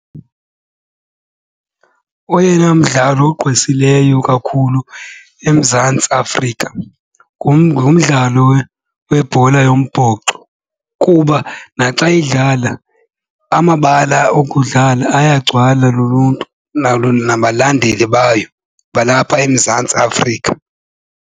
Oyena mdlalo ogqwesileyo kakhulu eMzantsi Afrika ngumdlalo webhola wombhoxo kuba naxa idlala amabala okudlala ayagcwala luluntu nalo nabalandeli bayo balapha eMzantsi Afrika.